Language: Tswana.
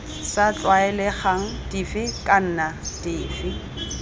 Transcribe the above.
sa tlwaelegang dife kana dife